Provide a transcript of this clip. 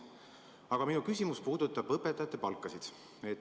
Aga minu küsimus puudutab õpetajate palkasid.